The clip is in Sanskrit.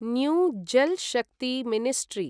new Jal Shakti ministry